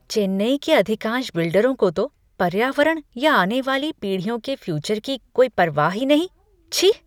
चेन्नई के अधिकांश बिल्डरों को तो पर्यावरण या आने वाली पीढ़ियों के फ़्यूचर की कोई परवाह ही नहीं। छी!